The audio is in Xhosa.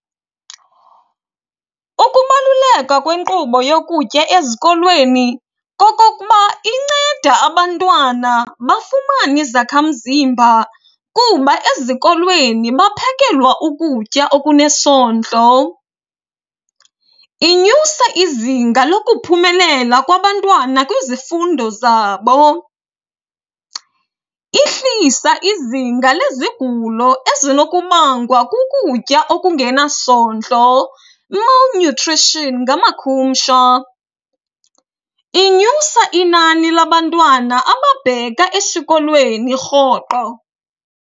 Ukubaluleka kwenkqubo yokutya ezikolweni kokokuba inceda abantwana bafumane izakhamzimba kuba ezikolweni baphekelwa ukutya okunesondlo. Inyusa izinga lokuphumelela kwabantwana kwizifundo zabo, ihlisa izinga lezigulo ezinokubangwa kukutya okungenasondlo, malnutrition ngamakhumsha. Inyusa inani labantwana ababheka esikolweni rhoqo.